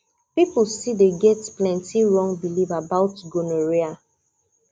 people still people still get plenty wrong belief about gonorrhea